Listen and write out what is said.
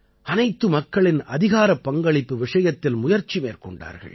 அனைத்து மக்களின் அதிகாரப்பங்களிப்பு விஷயத்தில் முயற்சி மேற்கொண்டார்கள்